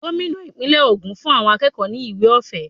Gómìnà ìpínlè ogún fún àwọn akẹ́kọ̀ọ́ ni ìwé ọ̀fẹ́.